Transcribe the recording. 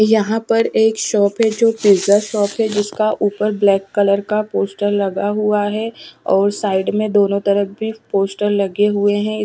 यहाँ पर एक शॉप है जो बिज़नस शॉप है जिसका उपर ब्लैक कलर का पोस्टर लगा हुआ है और साइड में दोनों तरफ़ भी पोस्टर लगे हुए है।